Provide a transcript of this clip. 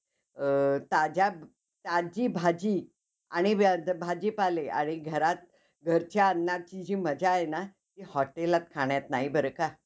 अक्षरासारखीच सगळ्यांची कहाणी होती हळूहळू. परत मग नंतर नायराची मुलगी अक्षरा असच दाखवत होते. तसंच की, अह ये हे चाहते है~ ती serial पण खूप छान आहे entertainment साठी.